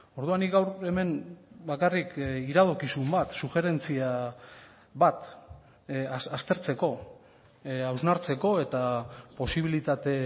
orduan nik gaur hemen bakarrik iradokizun bat sujerentzia bat aztertzeko hausnartzeko eta posibilitate